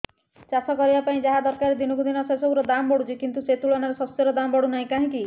ଚାଷ କରିବା ପାଇଁ ଯାହା ଦରକାର ଦିନକୁ ଦିନ ସେସବୁ ର ଦାମ୍ ବଢୁଛି କିନ୍ତୁ ସେ ତୁଳନାରେ ଶସ୍ୟର ଦାମ୍ ବଢୁନାହିଁ କାହିଁକି